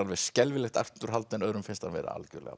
skelfilegt afturhald öðrum finnst hann vera algjörlega